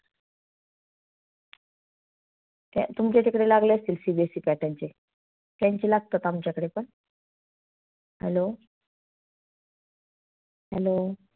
तुमच्या इकडे लागले असतील CBSE pattern चे? त्यांची लागतात आमच्या कडे पण. Hello hello